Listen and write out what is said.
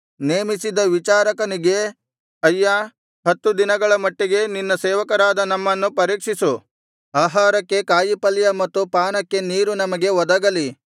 ನೇಮಿಸಿದ್ದ ವಿಚಾರಕನಿಗೆ ಅಯ್ಯಾ ಹತ್ತು ದಿನಗಳ ಮಟ್ಟಿಗೆ ನಿನ್ನ ಸೇವಕರಾದ ನಮ್ಮನ್ನು ಪರೀಕ್ಷಿಸು ಆಹಾರಕ್ಕೆ ಕಾಯಿಪಲ್ಯ ಮತ್ತು ಪಾನಕ್ಕೆ ನೀರು ನಮಗೆ ಒದಗಲಿ